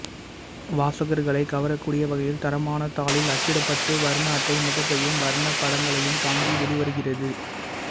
வாசகர்களைக் கவரக்கூடிய வகையில் தரமான தாளில் அச்சிடப்பட்டு வர்ண அட்டை முகப்பையும் வர்ணப் படங்களையும் தாங்கி வெளிவருகிறது